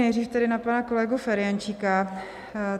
Nejdřív tedy na pana kolegu Ferjenčíka.